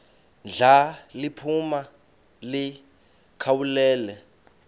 ndla liphuma likhawulele